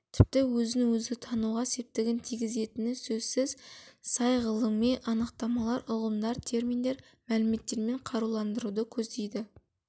тіпті өзін-өзі тануға септігін тигізетіні сөзсіз сай ғылыми анықтамалар ұғымдар терминдер мәліметтермен қаруландыруды көздейді